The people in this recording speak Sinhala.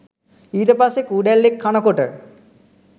ඊට පස්සේ කූඩැල්ලෙක් කනකොට